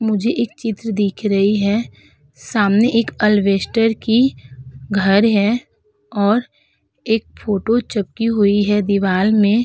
मुझे एक चित्र दिख रही है। सामने एक अलवेसटर की घर है और एक फ़ोटो चपकी हुई है दिवाल में।